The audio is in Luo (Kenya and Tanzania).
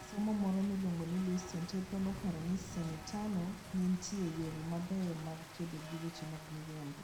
Jasomo moro miluongo ni Luis Teodoro noparo ne senetano ni nitie yore mabeyo mag kedo gi weche mag miriambo: